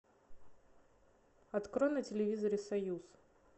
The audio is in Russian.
открой на телевизоре союз